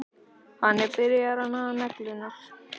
Hann er byrjaður að naga neglurnar.